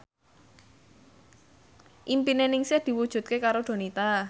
impine Ningsih diwujudke karo Donita